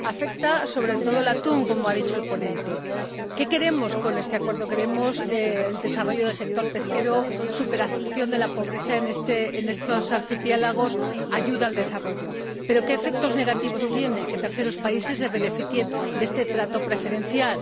Afecta, sobre todo, al atún, como ha dicho el ponente. ¿Qué queremos con este acuerdo? Queremos el desarrollo del sector pesquero y la superación de la pobreza en estos archipiélagos, esto es, la ayuda al desarrollo. ¿Pero qué efectos negativos tiene que terceros países se beneficien de este trato preferencial?